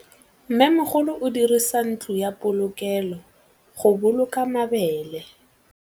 Mmêmogolô o dirisa ntlo ya polokêlô, go boloka mabele.